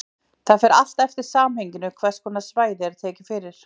Það fer allt eftir samhenginu hvers konar svæði er tekið fyrir.